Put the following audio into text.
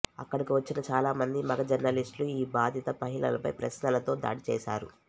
అక్కడకి వచ్చిన చాలా మంది మగ జర్నలిస్ట్ లు ఈ బాధిత మహిళలపై ప్రశ్నలతో దాడి చేసారు